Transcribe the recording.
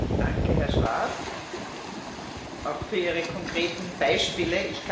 Danke, Herr Schwab, auch für Ihre konkreten Beispiele.